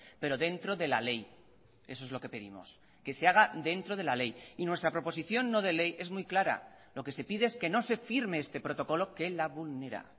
pero dentro de la ley eso es lo que pedimos que se haga dentro de la ley y nuestra proposición no de ley es muy clara lo que se pide es que no se firme este protocolo que la vulnera